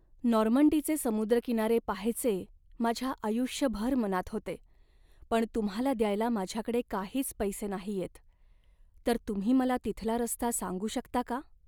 नॉर्मंडीचे समुद्रकिनारे पहायचे माझ्या आयुष्यभर मनात होते पण तुम्हाला द्यायला माझ्याकडे काहीच पैसे नाहीयेत, तर तुम्ही मला तिथला रस्ता सांगू शकता का?